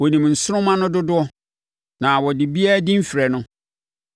Ɔnim nsoromma no dodoɔ na ɔde obiara din frɛ no.